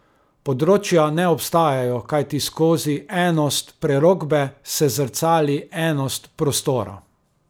Področja ne obstajajo, kajti skozi enost prerokbe se zrcali enost prostora.